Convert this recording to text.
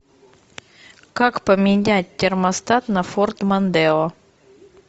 как поменять термостат на форд мондео